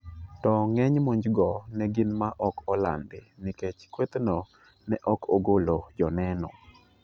To ng'eny monjgo ne gin ma ok olandi nikech kwethno ne ok ogolo joneno.